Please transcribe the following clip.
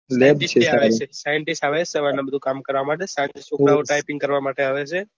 scientists આવે બધા સવાર ના બધા કામ કરવા માટે પછી છોકરા તાય્પીંગ કરવા માટે આવે છે ને